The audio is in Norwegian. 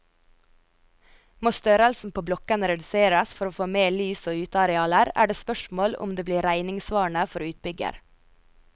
Må størrelsen på blokkene reduseres for å få mer lys og utearealer, er det spørsmål om det blir regningssvarende for utbygger.